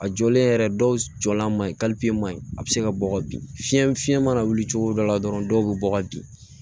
A jɔlen yɛrɛ dɔw la ma ye maɲi a be se ka bɔ ka bin fiɲɛ fiɲɛ mana wuli cogo dɔ la dɔrɔn dɔw be bɔ ka bin